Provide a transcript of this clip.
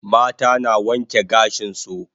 Mata na wanke gashin su